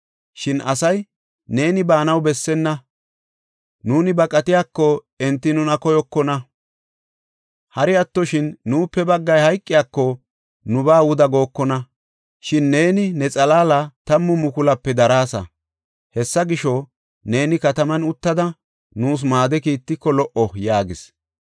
Shin asay, “Neeni baanaw bessenna! Nuuni baqatiyako enti nuna koyokona; hari attoshin nuupe baggay hayqiyakoka nubaa wuda gookona. Shin neeni ne xalaala tammu mukulupe daraasa. Hessa gisho, neeni kataman uttada nuus maado kiittiko lo77o” yaagis.